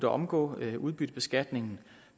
omgår udbyttebeskatning